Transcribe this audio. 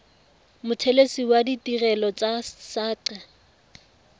mothelesi wa ditirelo tsa saqa